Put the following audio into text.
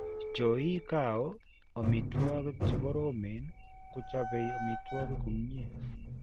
Chooiikao omituokik chikoromen kuchopei omituokik kumnyee.